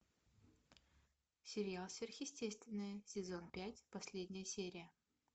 сериал сверхъестественное сезон пять последняя серия